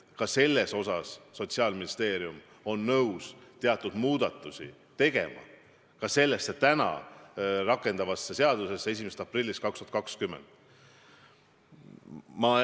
Sotsiaalministeerium on nõus teatud muudatusi tegema ka selles 1. aprillist 2020 rakendatavas seaduses.